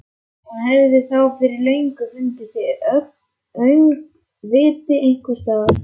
Hún hefði þá fyrir löngu fundist í öngviti einhvers staðar.